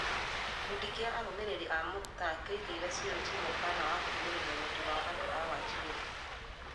Gĩkundi kĩa arũmĩrĩri a Muktar kĩoigĩire CoG mũkaana wa kũhinyĩrĩria wendi wa andũ a Wajir.